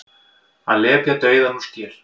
Að lepja dauðann úr skel